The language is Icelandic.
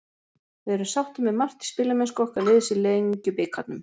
Við erum sáttir með margt í spilamennsku okkar liðs í Lengjubikarnum.